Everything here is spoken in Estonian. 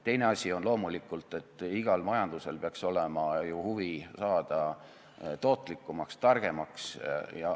Teine asi on loomulikult see, et igal majandusel peaks olema ju huvi saada tootlikumaks, targemaks.